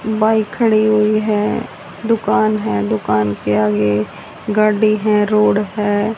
Bike खड़ी हुई है। दुकान है दुकान के आगे गाड़ी है रोड है।